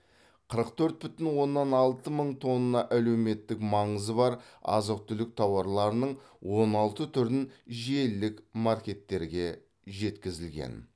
қырық төрт бүтін оннан алты мың тонна әлеуметтік маңызы бар азық түлік тауарларының он алты түрін желілік маркеттерге жеткізілген